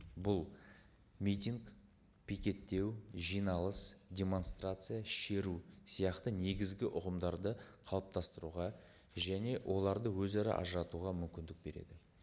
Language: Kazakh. бұл митинг пикеттеу жиналыс демонстрация шеру сияқты негізгі ұғымдарды қалыптастыруға және оларды өзара ажыратуға мүмкіндік береді